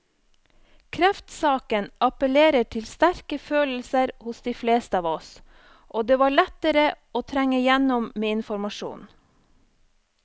Kreftsaken appellerer til sterke følelser hos de fleste av oss, og det var lettere å trenge igjennom med informasjon.